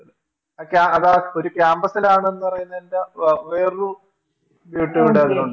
ആ ക്യാ അതാ ഒരു Campus ലാണെന്ന് പറയുന്നതിൻറെ വേറൊരു ഉണ്ടെന്ന് തോന്നുന്നു